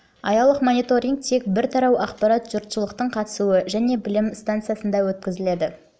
аялық мониторинг тек бір тарау ақпарат жұртшылықтың қатысуы және білім станцияда ғана өткізіледі